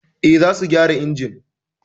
Eh, za su gyara injimin